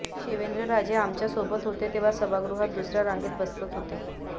शिवेंद्रराजे आमच्यासोबत होते तेव्हा सभागृहात दुसऱ्या रांगेत बसत होते